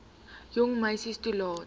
jong meisie toelaat